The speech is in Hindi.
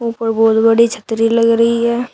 ऊपर बहोत बड़ी छतरी लग रही है।